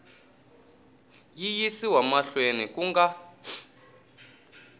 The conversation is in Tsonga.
yi yisiwa mahlweni ku nga